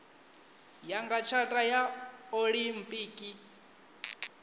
ya nga tshata ya olimpiki